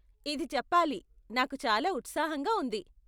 ఇది చెప్పాలి, నాకు చాలా ఉత్సాహంగా ఉంది.